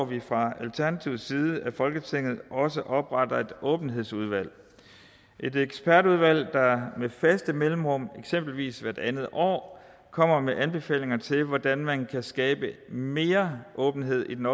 vi fra alternativets side at folketinget også opretter et åbenhedsudvalg et ekspertudvalg der med faste mellemrum eksempelvis hvert andet år kommer med anbefalinger til hvordan man kan skabe mere åbenhed i den